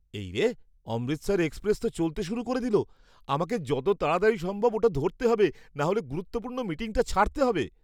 এই রে! অমৃতসর এক্সপ্রেস তো চলতে শুরু করে দিলো। আমাকে যত তাড়াতাড়ি সম্ভব ওটা ধরতে হবে নাহলে গুরুত্বপূর্ণ মিটিংটা ছাড়তে হবে!